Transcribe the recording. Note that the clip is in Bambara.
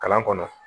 Kalan kɔnɔ